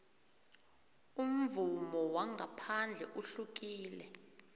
umvumo wangaphandle uhlukile